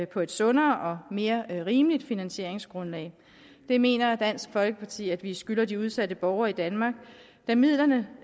på et sundere og mere rimeligt finansieringsgrundlag det mener dansk folkeparti at vi skylder de udsatte borgere i danmark da midlerne